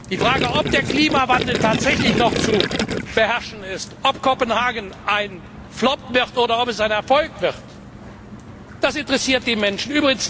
Die Frage, ob der Klimawandel tatsächlich noch zu beherrschen ist, ob Kopenhagen ein Flop oder ein Erfolg wird, das interessiert die Menschen.